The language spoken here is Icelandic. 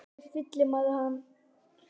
En hvernig fyllir maður hann?